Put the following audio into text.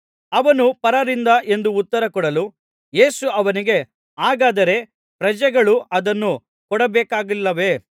ಅವನು ಪರರಿಂದ ಎಂದು ಉತ್ತರ ಕೊಡಲು ಯೇಸು ಅವನಿಗೆ ಹಾಗಾದರೆ ಪ್ರಜೆಗಳು ಅದನ್ನು ಕೊಡಬೇಕಾಗಿಲ್ಲವೇ